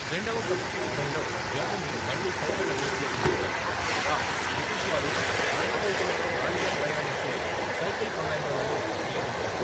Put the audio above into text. రెండవ ప్రపంచ యుద్ధంలో జర్మనీ మళ్ళీ సైకిళ్లను ఉపయోగించింది, కాగా బ్రిటిష్ వారు మడత బైకులతో గాలిలో ప్రయాణించే 'సైకిల్ కమాండోల'ను నియమించారు.